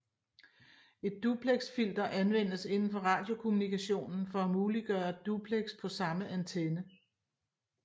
Et duplexfilter anvendes indenfor radiokommunikationen for at muliggøre duplex på samme antenne